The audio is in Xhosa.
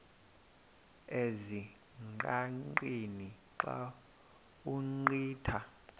ezingqaqeni xa ugqitha